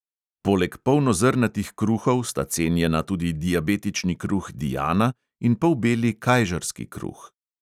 Poleg polnozrnatih kruhov sta cenjena tudi diabetični kruh diana in polbeli kajžarski kruh.